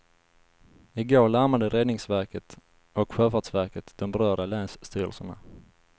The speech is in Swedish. I går larmade räddningsverket och sjöfartsverket de berörda länsstyrelserna.